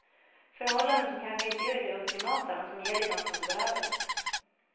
Förhållanden som kanske inte är det ultimata, men som ger dig något som du behöver.